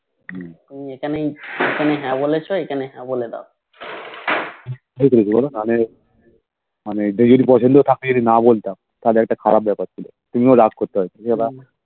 হম এখানে হে বলেছি এখানে হে বলে দাও হম